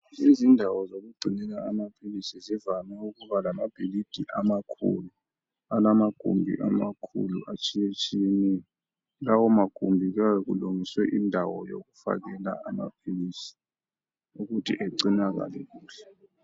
Izindawo zokugcinela amaphilisi zivame ukuba lamabhilidi amakhulu alamagumbi amakhulu atshiyetshiyeneyo lawo magumbi kuyabe kulungiswe indawo yokufakela amaphilisi ukuthi egcinakale kuhle.